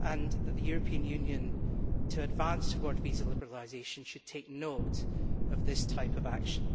and that the European Union, when advancing towards visa liberalisation, should take note of this type of action.